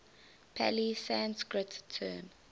pali sanskrit term